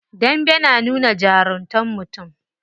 Dambe na nuna jarumtar mutum.